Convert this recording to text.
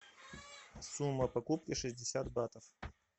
сумма покупки шестьдесят батов